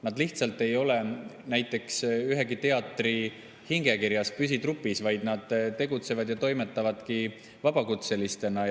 Nad lihtsalt ei ole näiteks ühegi teatri hingekirjas, püsitrupis, vaid nad tegutsevad ja toimetavadki vabakutselistena.